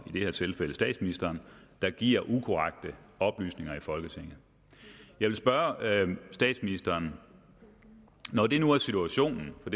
det her tilfælde statsministeren der giver ukorrekte oplysninger i folketinget jeg vil spørge statsministeren når det nu er situationen for